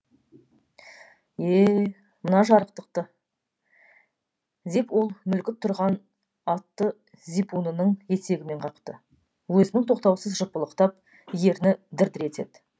е мына жарықтықты деп ол мүлгіп тұрған атты зипунының етегімен қақты өзінің тоқтаусыз жыпылықтап ерні дір дір етеді